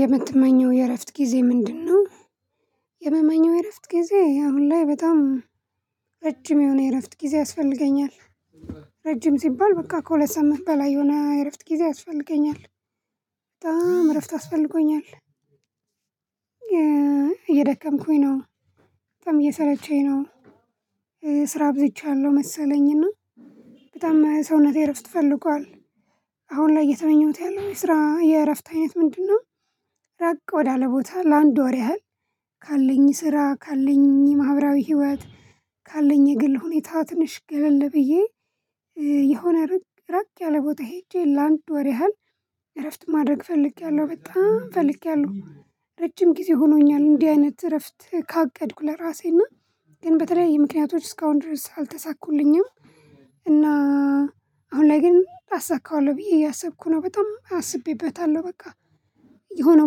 የምትመኘው የእረፍት ጊዜ ምንድነው? የምትመኘው የእረፍት ጊዜ አሁን ላይ በጣም ረጅም የሆነ የእረፍት ጊዜ ያስፈልገኛል። ረጅም ሲባል በቃ ከሁለት ሰዓት በላይ የሆነ እረፍት ጊዜ ያስፈልገኛል። በጣም እረፍት አስፈልገኛል። እየደከምኩኝ ነው በጣም እየሰለቸኝ ነው። ስራ አብዝቻለሁ መሰለኝና በጣም ሰውነቴ እረፍት ፈልገዋል። አሁን ላይ እየተመኘሁት ያለው የስራ የእረፍት አይነት ምንድነው? ራቅ ወዳለ ቦታ ለአንድ ወር ያህል ካለኝ ስራ ካለኝ የማህበራዊ ህይወት ካለኝ የግል ሁኔታ ትንሽ ገለል ብዬ የሆነ ርቅ ራቅ ያለ ቦታ ሄጄ ላንድ ወር ያህል እረፍት ማድረግ ፈልጌያለሁ በጣም ፈልጌያለሁ። ረጅም ጊዜ ሆኖኛል እንዲህ አይነት እረፍት ካቀድኩ ለራሴና ግን በተለያየ ምክንያቶች እስካሁን ድረስ አልተሳኩልኝም። እና አሁን ላይ ግን አሳካዋለሁ ብዬ እያሰብኩ ነው በጣም አስቤበታለሁ በቃ የሆነ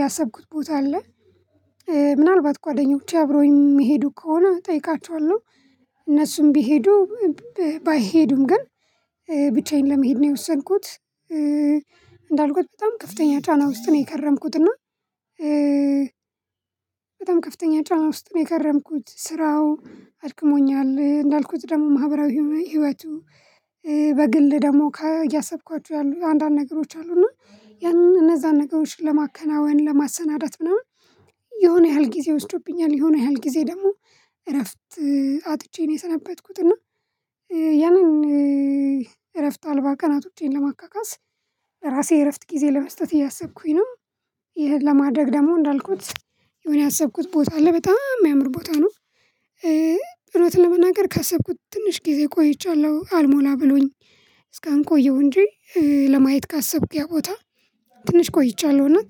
ያሰብኩት ቦታ አለ። ምናልባት ጓደኞቼ አብረውኝ የሚሄዱ ከሆነ እጠይቃችኋለሁ። እነሱም ቢሄዱ ባይሄዱም ግን ብቻዬን ለመሄድ ነው የወሰንኩት። እንዳልኩት በጣም ከፍተኛ ጫና ውስጥ ነው የከረምኩት እና ከፍተኛ ጫና ውስጥ የከረምኩት ስራው አድክሞኛል እንዳልኩት ደግሞ ማህበራዊ ህይወቱ። በግል ደግሞ ከእያሰብኳቸሁ ያሉ አንዳንድ ነገሮች አሉ እና ያንን እነዛን ነገሮችን ለማከናወን ለማሰናዳት ምናምን የሆነ ያህል ጊዜ ወስዶብኛል የሆነ ያህል ጊዜ ደግሞ እረፍት አጥቼ ነው የሰነበትኩት። እና ያንን እረፍት አልባ ቀናቶቼን ለማካካስ እራሴ እረፍት ጊዜ ለመስጠት እያሰብኩኝ ነው። ይሄ ለማድረግ ደግሞ እንዳልኩት የሆነ ያሰብኩት ቦታ አለ በጣም የሚያምር ቦታ ነው። እውነት ለመናገር ካሰብኩት ትንሽ ጊዜ ቆይቻለሁ አልሞላ ብሎኝ። እስካሁንቆየው እንጂ ለማየት ካሰብኩ ያቦታ ትንሽ ቆይቻለሁ እውነት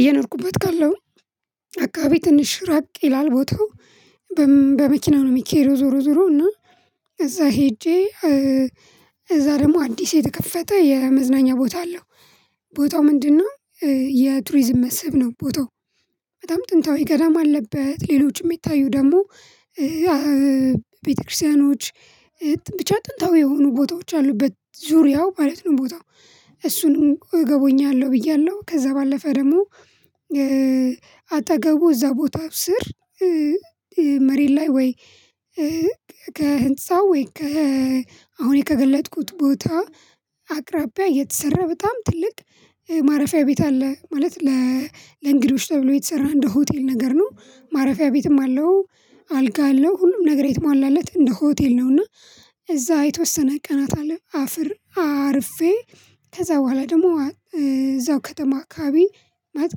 እየኖርኩበት ካለው አካባቢ ትንሽ ራቅ ይላል ቦታው። በመኪናው ነው የሚኬደው ዞሮ ዞሮ እና እዛ ሄጄ እዛ ደግሞ አዲስ የተከፈተ የመዝናኛ ቦታ አለው። ቦታው ምንድነው? የቱሪዝም መስብ ነው። ቦታው በጣም ጥንታዊ ገዳም አለበት ሌሎችም የሚታዩ ደግሞ ቤተክርስቲያኖች ብቻ ጥንታዊ የሆኑ ቦታዎች አሉበት። ዙሪያው ማለት ነው ቦታው እሱንም እገቡኛለሁ ብያለሁ ከዛ ባለፈ ደግሞ አጠገቡ እዛ ቦታው ስር። መሬት ላይ ወይ ከህንፃ ወይ ከ አሁን የከገለጠኩት ቦታ አቅራቢያ የተሰራ በጣም ትልቅ ማረፊያ ቤት አለ። ማለት ለእንግዶች ተብሎ የተሰራ እንደ ሆቴል ነገር ነው ማረፊያ ቤትም አለው። አልጋ አለው ሁሉም ነገር የተሟላለት እንደ ሆቴል ነውና። እዛ የተወሰነ ቀናት አለ አፍር አርፌ ከዛ በኋላ ደግሞ እዛው ከተማ አካባቢ ማለት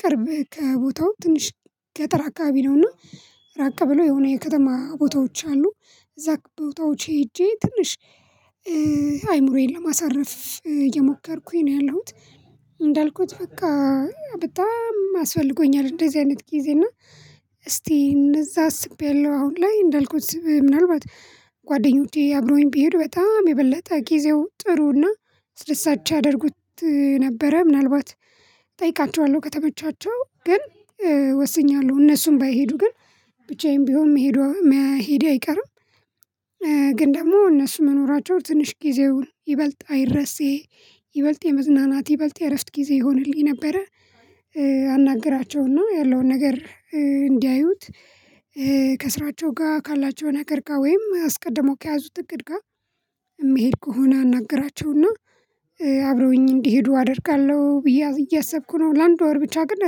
ቅርብ ከቦታው ትንሽ ገጠር አከባቢ ነውና። ራቀ ብለው የሆነ የከተማ ቦታዎች አሉ። እዛ ቦታዎች ሄጄ ትንሽ አይምሮዬን ለማሳረፍ የሞከርኩኝ ነው ያለሁት። እንዳልኩት በቃ በጣም አስፈልጎኛል እንደዚህ አይነት ጊዜ እና። እስቲ እነዛ አስቤያለሁ አሁን ላይ እንዳልኩት ምናልባት ጓደኞቼ አብሮኝ ቢሄድ በጣም የበለጠ ጊዜው ጥሩና አስደሳች ያድርጉት ነበረ። ምናልባት እጠይቃቸዋለሁ ከተመቻቸው ግን ወስኛለሁ እነሱም ባይሄዱ ግን ብቻዬን ቢሆን መሄድ አይቀርም። ግን ደግሞ እነሱ መኖራቸው ትንሽ ጊዜውን ይበልጥ አይረሴ ይበልጥ የመዝናናት ይበልጥ የእርስት ጊዜ ይሆንልኝ ነበረ። አናገራቸውና ያለውን ነገር እንዲያዩት ከስራቸው ጋር ካላቸው ነገር ጋር ወይም አስቀድሞ ከያዙት እቅድጋ የሚሄድ ከሆነ አናገራቸውና። አብረውኝ እንዲሄዱ አደርጋለሁ ብዬ እያሰብኩ ነው። ለአንድ ወር ብቻ ግን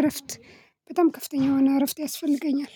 እረፍት በጣም ከፍተኛ የሆነ እረፍት ያስፈልገኛል።